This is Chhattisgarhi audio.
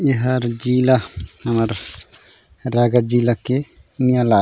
ए हर जिला हमर रायगढ़ जिला के निया लागे--